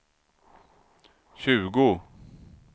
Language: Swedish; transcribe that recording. tjugo